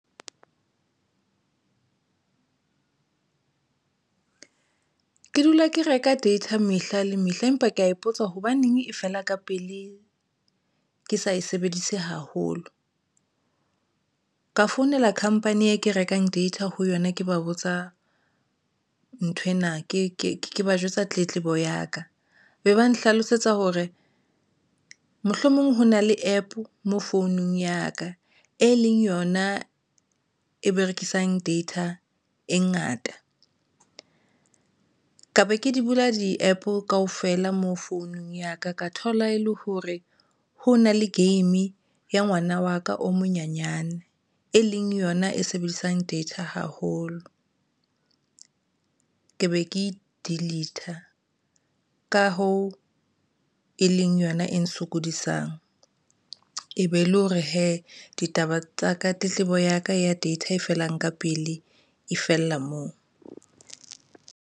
Ke dula ke reka data mehla le mehla, empa ke ya ipotsa hobaneng e fela ka pele ke sa e sebedise haholo ka founela company e ke rekang data ho yona, ke ba botsa nthwena, ke ba jwetsa tletlebo ya ka be ba nhlalosetsa hore mohlomong ho na le APP mo founung ya ka e leng yona e berekisang data e ngata ka be ke di bula di-APP kaofela mo founung ya ka, ka thola e le hore ho na le game ya ngwana wa ka o monyenyane e leng yona e sebedisang data haholo ke be ke delete ka hoo, e leng yona e sokodisang e be le hore hee ditaba tsa ka tletlebo ya ka ya data e felang ka pele e fella moo.